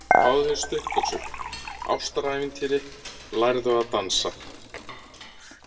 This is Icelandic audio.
Fáður þér stuttbuxur, ástarævintýri, lærðu að dansa.